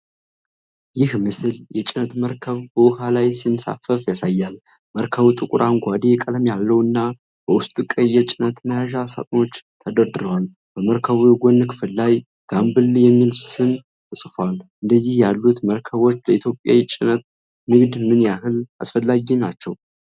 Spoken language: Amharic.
ይህ ምስል የጭነት መርከብ በውኃ ላይ ሲንሳፈፍ ያሳያል። መርከቡ ጥቁር አረንጓዴ ቀለም ያለውና በውስጡ ቀይ የጭነት መያዣ ሳጥኖች ተደርድረዋል። በመርከቡ የጎን ክፍል ላይ "Gambella" የሚል ስም ተጽፏል። እንደነዚህ ያሉት መርከቦች ለኢትዮጵያ የውጭ ንግድ ምን ያህል አስፈላጊ ናቸው?